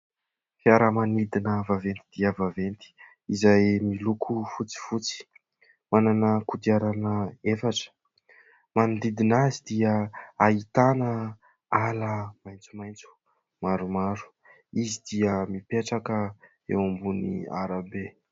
Fiaramanidina vaventy dia vaventy izay miloko fotsifotsy, manana kodiarana efatra, manodidina azy dia ahitana ala maitsomaitso maromaro, izy dia mipetraka eo ambonin'ny arabe.